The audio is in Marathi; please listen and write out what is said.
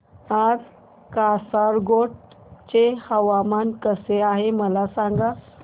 आज कासारगोड चे हवामान कसे आहे मला सांगा